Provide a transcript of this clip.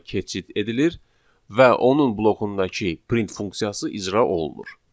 keçid edilir və onun blokundakı print funksiyası icra olunur.